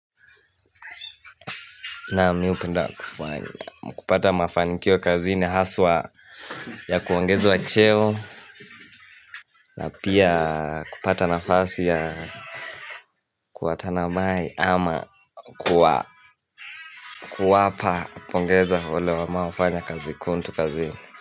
Naam mi hupenda kufanya kupata mafanikio kazini haswa ya kuongezwa cheo na pia kupata nafasi ya kuwatanamai ama kuwa kuwapa pongeza wale ambao wamefanya kazi kuntu kazini.